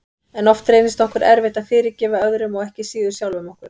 En oft reynist okkur erfitt að fyrirgefa öðrum og ekki síður sjálfum okkur.